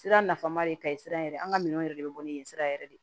Sira nafama de ka ye sira yɛrɛ an ka minɛnw yɛrɛ de bɛ bɔ ni yen sira yɛrɛ de ye